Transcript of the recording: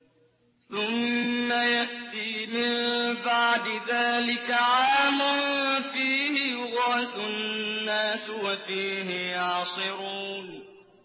ثُمَّ يَأْتِي مِن بَعْدِ ذَٰلِكَ عَامٌ فِيهِ يُغَاثُ النَّاسُ وَفِيهِ يَعْصِرُونَ